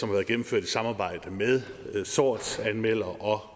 har været gennemført i samarbejde med sortsanmeldere og